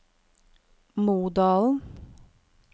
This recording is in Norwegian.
Modalen